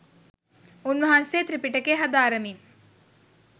උන්වහන්සේ ත්‍රිපිටකය හදාරමින්